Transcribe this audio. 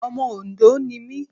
Ọmọ Òndó ni mí.